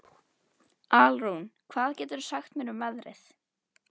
Alrún, hvað geturðu sagt mér um veðrið?